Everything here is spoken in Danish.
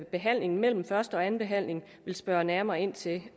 behandlingen mellem første og anden behandling vil spørge nærmere ind til